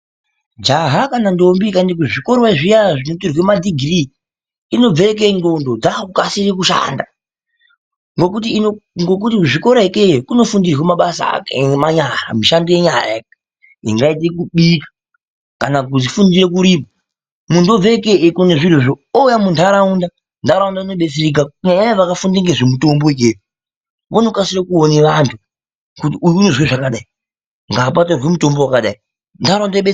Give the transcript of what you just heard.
Jaha kana ndombi ikaenda kuzvikora zviya zvinotorwe madhigirii inobve ikeyo nxlondo dzakukasire kushanda ngekuti kuzvikora ikeyo kunofundirwe mabasa emanyara, mishando yenyara ingaite kubika ,kana kufundire kurima muntu obve ikeyo eikone zvirozvo oouya munharaunda nharaunda inobetsereka kunyanyanyanya vakafunde ngezvemutombo vanokasire kuone vanhu kuti uyu unozwe zvakadai ngapatorwe mutombo wakadai.